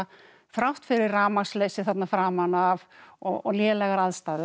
þrátt fyrir rafmagnsleysi þarna framan af og lélegar aðstæður